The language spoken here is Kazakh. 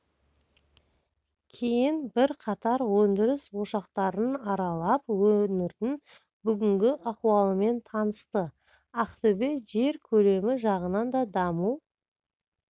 кейін бірқатар өндіріс ошақтарын аралап өңірдің бүгінгі ахуалымен танысты ақтөбе жер көлемі жағынан да даму